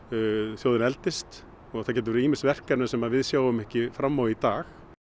þjóðin eldist og það geta verið ýmis verk sem við sjáum ekki fram á í dag